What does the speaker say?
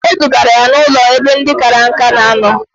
Mba, edugara ya n'ụlọ ebe ndị kara nka na anọ